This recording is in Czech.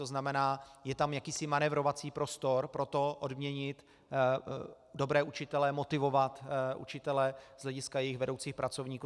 To znamená, je tam jakýsi manévrovací prostor pro to odměnit dobré učitele, motivovat učitele z hlediska jejich vedoucích pracovníků.